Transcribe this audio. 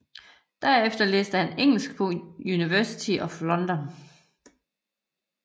Derefter læste han engelsk på University of London